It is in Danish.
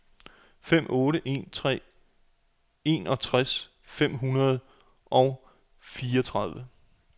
fem otte en tre enogtres fem hundrede og fireogtredive